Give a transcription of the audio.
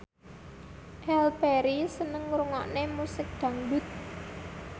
Halle Berry seneng ngrungokne musik dangdut